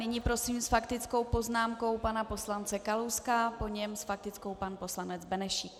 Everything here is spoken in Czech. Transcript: Nyní prosím s faktickou poznámkou pana poslance Kalouska, po něm s faktickou pan poslanec Benešík.